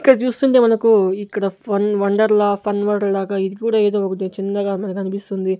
ఇక్కడ చూస్తుంటే మనకు ఇక్కడ ఫన్ వండర్ లా ఫన్ వండర్ లాగా ఇది కూడా ఏదో ఒకటి చిన్నగా మనకి అనిపిస్తుంది.